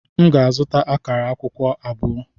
M ga-azụta akara akwukwo abụọ.